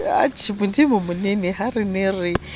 monene ha re ne re